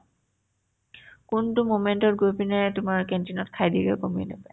কোনতো moment তত গৈ পিনে তোমাৰ canteen ত খাই দিয়েগে গ'মে নাপায় ।